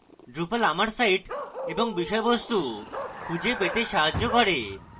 drupal আমার site এবং বিষয়বস্তু খুঁজে পেতে সাহায্য করে